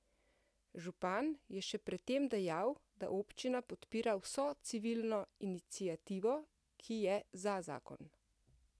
Župan je še pred tem dejal, da občina podpira vso civilno iniciativo, ki je za zakon.